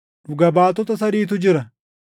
Dhuga baatota sadiitu jira: